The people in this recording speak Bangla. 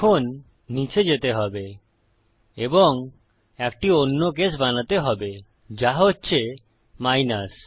এখন নীচে যেতে হবে এবং একটি অন্য কেস বানাতে হবে যা হচ্ছে মাইনাস